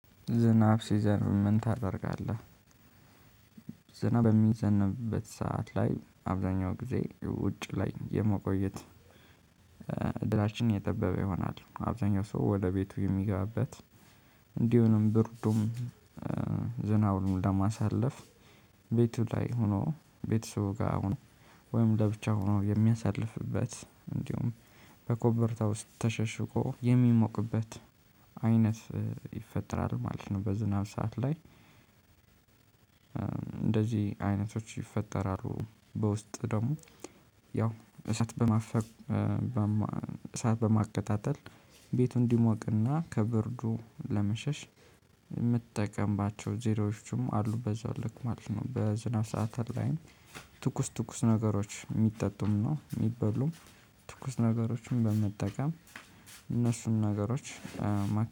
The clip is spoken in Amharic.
ዝናብ ሲዘንብ ምን ታደርጋለህ? ዝናብ በሚዘንብበት ሰዓት ላይ አብዛኛው ጊዜ ውጭ ላይ የመቆየት እድላችን የጠበበ ይሆናል። አብዛኛው ሰው ወደ ቤቱ የሚገባበት እንዲሁም ብርዱም ዝናቡንም ለማሳለፍ ቤቱ ላይ ሆኖ ቤትሰቡ ጋር ሆኖ ወይም ለብቻ ሆኖ የሚያሳልፍበት እንዲሁም በኮምፈርታ ውስጥ ተሸሽጎ የሚሞቅበት አይነት ይፈጠራል ማለት ነው። በዝናብ ሰዓት ላይ እንደዚህ አይነቶች ይፈጠራሉ። በውስጥ ደግሞ ያው እሳት በማፈም በማቀጣጠል ቤቱን እንዲሞቅና ከብርዱ ለመሸሽ የምትጠቀምባቸው ዘሮዎችም አሉ። በዛው ልክ ማለት ነው። በዝናብ ሰዓታት ላይም ትኩስ ትኩስ ነገሮች የሚጠጡም ነው የሚበሉም ትኩስ ነገሮችን በመጠቀም እነሱን ነገሮች